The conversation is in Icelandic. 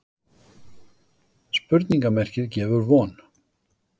Spurningarmerkið gefur von.